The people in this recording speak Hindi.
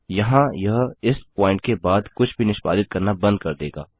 यहाँ यह इस प्वॉइंट के बाद से कुछ भी निष्पादित करना बंद कर देगा